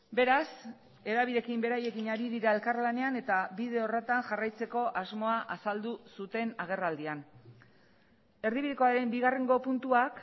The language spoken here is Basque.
beraz hedabideekin beraiekin ari dira elkarlanean eta bide horretan jarraitzeko asmoa azaldu zuten agerraldian erdibidekoaren bigarrengo puntuak